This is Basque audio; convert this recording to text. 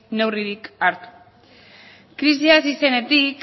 neurririk hartu krisia hasi zenetik